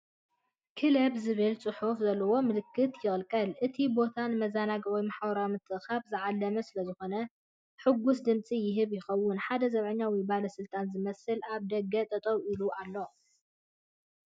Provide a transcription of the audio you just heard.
"ክለብ" ዝብል ጽሑፍ ዘለዎ ምልክት ይቕልቀል። እቲ ቦታ ንመዘናግዒ ወይ ማሕበራዊ ምትእኽኻባት ዝዓለመ ስለዝኾነ ሕጉስ ድምጺ ይህብ ይኸውን። ሓደ ዘብዐኛ ወይ ባለስልጣን ዝመስል ኣብ ደግኣ ጠጠው ኢሉ ኣሎ፡፡